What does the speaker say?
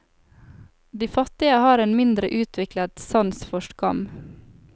De fattige har en mindre utviklet sans for skam.